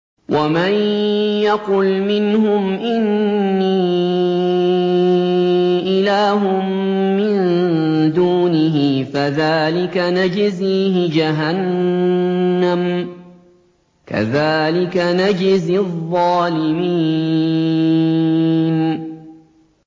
۞ وَمَن يَقُلْ مِنْهُمْ إِنِّي إِلَٰهٌ مِّن دُونِهِ فَذَٰلِكَ نَجْزِيهِ جَهَنَّمَ ۚ كَذَٰلِكَ نَجْزِي الظَّالِمِينَ